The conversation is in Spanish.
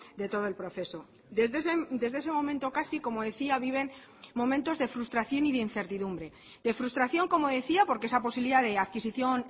de todo el proceso desde ese momento casi como decía viven momentos de frustración y de incertidumbre de frustración como decía porque esa posibilidad de adquisición